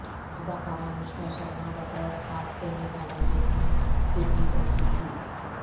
اداکارہ انوشکا شرما بطور خاص سیمی فائنل دیکھنے سڈنی پہنچیں تھیں